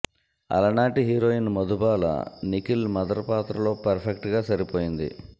అలనాటి heroine Madhubala Nikhil mother పాత్రలో perfect గా సరిపోయింది